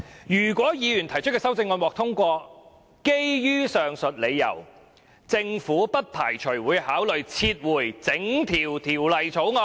如果議員提出的修正案獲得通過，基於上述理由，政府不排除會考慮撤回整項《條例草案》"。